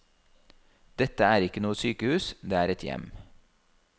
Dette er ikke noe sykehus, det er et hjem.